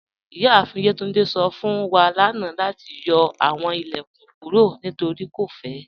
Iyaafin Yetúndé sọ fun wa lánà lati yọ awọn ilẹ̀kún kúrò nítorí kò fẹ̀.